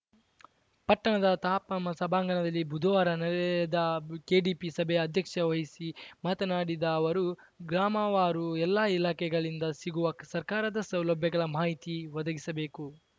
ಪಟ್ಟಣದ ತಾಪಂ ಸಭಾಂಗಣದಲ್ಲಿ ಬುಧವಾರ ನಡೆದ ಕೆಡಿಪಿ ಸಭೆಯ ಅಧ್ಯಕ್ಷ ವಹಿಸಿ ಮಾತನಾಡಿದ ಅವರು ಗ್ರಾಮವಾರು ಎಲ್ಲ ಇಲಾಖೆಗಳಿಂದ ಸಿಗುವ ಸರ್ಕಾರದ ಸೌಲಭ್ಯಗಳ ಮಾಹಿತಿ ಒದಗಿಸಬೇಕು